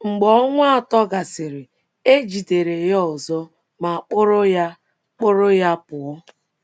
Mgbe ọnwa atọ gasịrị, e jidere ya ọzọ ma kpụrụ ya kpụrụ ya pụọ.